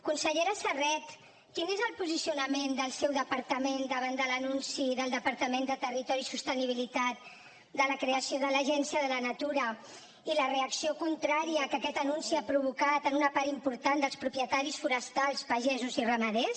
consellera serret quin és el posicionament del seu departament davant de l’anunci del departament de territori i sostenibilitat de la creació de l’agència de la natura i la reacció contrària que aquest anunci ha provocat en una part important dels propietaris forestals pagesos i ramaders